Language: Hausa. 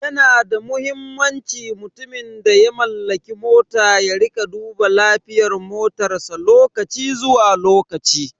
Yana da muhimmanci mutumin da ya mallaki mota ya rika duba lafiyar motarsa lokaci zuwa lokaci.